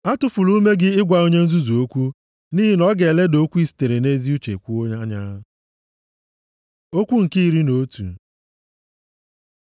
Atụfula ume gị ịgwa onye nzuzu okwu, nʼihi na ọ ga-eleda okwu i sitere nʼezi uche kwuo anya. Okwu nke iri na otu